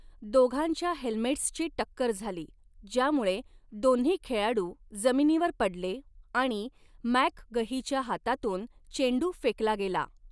दोघांच्या हेल्मेट्सची टक्कर झाली, ज्यामूळे दोन्ही खेळाडू जमिनीवर पडले आणि मॅकगहीच्या हातातून चेंडू फेकला गेला.